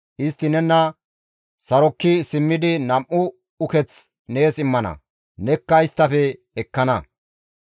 Istti nena sarokki simmidi nam7u uketh nees immana; nekka isttafe ekkana.